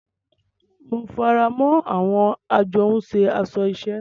Mo faramọ awọn ajohunše aṣọ iṣẹ.